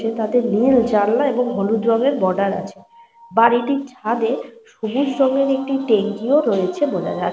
এটি বেশ ঘন বসতিওয়ালা এরিয়া বোঝা যাচ্ছে। সামনে যে বাড়িটি রয়েছে দোতলা বাড়িটি ওপরের ঘরে তিনটে জানলা রয়েছে। এবং পাশের যে বাড়িটি রয়ে --